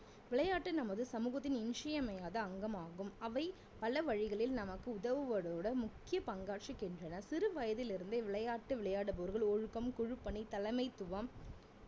விளையாட்டு நமது சமூகத்தின் இன்றி அமையாத அங்கமாகும் அவை பல வழிகளில் நமக்கு உதவுவதுடன் முக்கிய பங்காற்றுகின்றன சிறுவயதில் இருந்தே விளையாட்டு விளையாடுபவர்கள் ஒழுக்கம் குழு பணி தலைமைத்துவம்